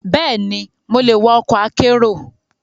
Bẹ́ẹ̀ni, mo lè wa ọkọ̀ akérò.